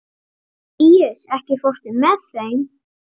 Líus, ekki fórstu með þeim?